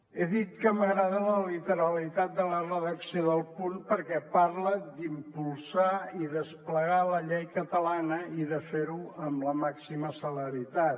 he dit que m’agrada la literalitat de la redacció del punt perquè parla d’ impulsar i desplegar la llei catalana i de fer ho amb la màxima celeritat